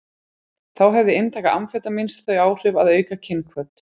Þá hefði inntaka amfetamíns þau áhrif að auka kynhvöt.